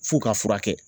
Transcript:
F'u ka furakɛ